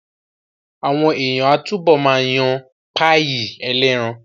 Àwọn èèyàn á túbọ̀ ma yan páyì ẹlẹ́ran